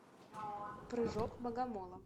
прыжок богомола